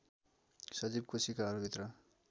सजीव कोशिकाहरू भित्र